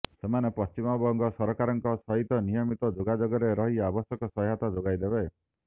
ସେମାନେ ପଶ୍ଚିମବଙ୍ଗ ସରକାରଙ୍କ ସହିତ ନିୟମିତ ଯୋଗାଯୋଗରେ ରହି ଆବଶ୍ୟକ ସହାୟତା ଯୋଗାଇ ଦେବେ